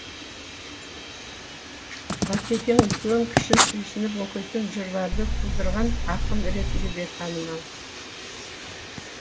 батекең үлкен кіші сүйсініп оқитын жырларды тудырған ақын ретінде де танымал